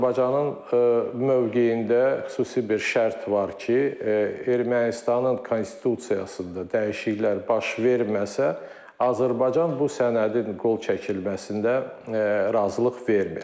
Azərbaycanın mövqeyində xüsusi bir şərt var ki, Ermənistanın konstitusiyasında dəyişikliklər baş verməsə, Azərbaycan bu sənədin qol çəkilməsində razılıq vermir.